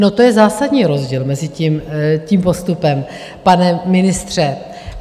No, to je zásadní rozdíl mezi tím postupem, pane ministře.